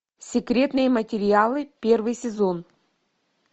секретные материалы первый сезон